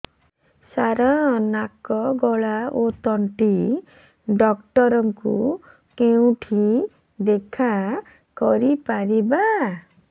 ସାର ନାକ ଗଳା ଓ ତଣ୍ଟି ଡକ୍ଟର ଙ୍କୁ କେଉଁଠି ଦେଖା କରିପାରିବା